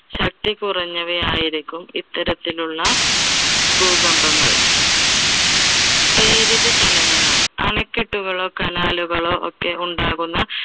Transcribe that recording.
ശക്തി കുറഞ്ഞവ ആയിരിക്കും ഇത്തരത്തിലുള്ള ഭൂകമ്പങ്ങൾ. പ്രേരിത ചലനങ്ങൾ അണകെട്ടുകളോ canal കളോ ഒക്കെ ഉണ്ടാകുന്ന